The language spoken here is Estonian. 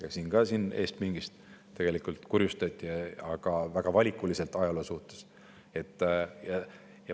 Täna siit eestpingist ka kurjustati, aga ajaloo mõttes väga valikuliselt.